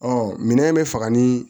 minɛn in bɛ faga ni